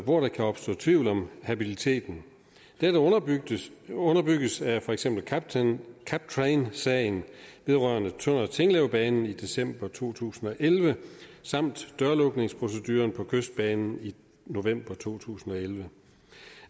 hvor der kan opstå tvivl om habiliteten dette underbygges underbygges af for eksempel captrainsagen vedrørende tønder tinglev banen i december to tusind og elleve samt dørlukningsproceduren på kystbanen i november to tusind og elleve